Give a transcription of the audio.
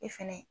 E fɛnɛ